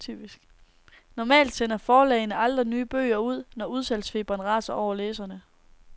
Normalt sender forlagene aldrig nye bøger ud, når udsalgsfeberen raser hos læserne.